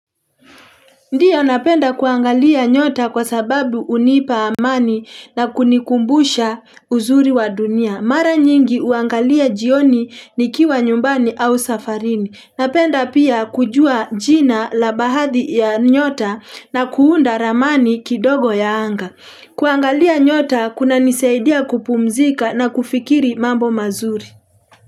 Ndiyo napenda kuangalia nyota kwa sababu hunipa amani na kunikumbusha uzuri wa dunia. Mara nyingi huangalia jioni nikiwa nyumbani au safarini. Napenda pia kujua jina la baadhi ya nyota na kuunda ramani kidogo ya anga. Kuangalia nyota kuna nisaidia kupumzika na kufikiri mambo mazuri.